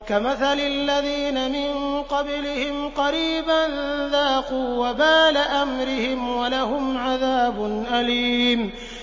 كَمَثَلِ الَّذِينَ مِن قَبْلِهِمْ قَرِيبًا ۖ ذَاقُوا وَبَالَ أَمْرِهِمْ وَلَهُمْ عَذَابٌ أَلِيمٌ